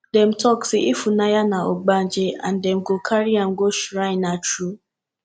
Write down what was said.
dem talk say ifunanya be ogbanje and dem go carry am go shrine na true